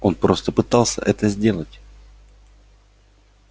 он просто пытался это сделать